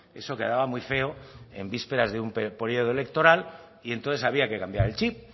eso quedaba muy feo en vísperas de un periodo electoral y entonces había que cambiar el chip